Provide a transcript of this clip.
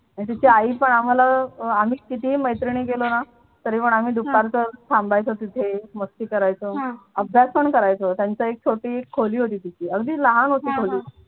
तिची आई पण आम्हाला आम्ही कितीही मैत्रिणी गेलो ना तरीपण आम्ही दुपारचं थांबायचं तिथे मस्ती करायचो अभ्यास पण करायचो त्यांची एक छोटी खोली होती तिथे अगदी लहान होती खोली